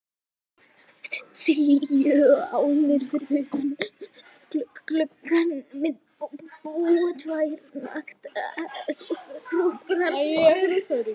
Tíu álnir fyrir utan gluggann minn búa tvær naktar hjúkrunarkonur.